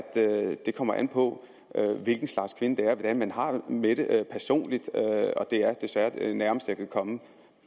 det kommer an på hvilken slags kvinde det er hvordan har det med det det er desværre det nærmeste jeg kan komme